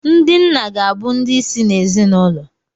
Ndị nna ga-abụ ndị isi ezinụlọ.